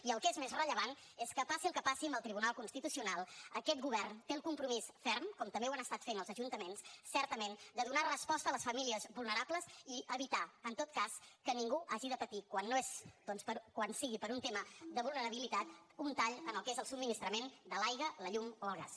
i el que és més rellevant és que passi el que passi amb el tribunal constitucional aquest govern té el compromís ferm com també ho han estat fent els ajuntaments certament de donar resposta a les famílies vulnerables i evitar en tot cas que ningú hagi de patir quan sigui per un tema de vulnerabilitat un tall en el que és el subministrament de l’aigua la llum o el gas